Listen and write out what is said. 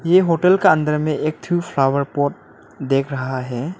ये होटल का अंदर में एक थू फ्लावर पॉट देख रहा है।